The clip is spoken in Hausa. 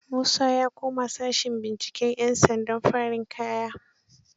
Musa ya koma sashen binciken 'yansandan farin kaya.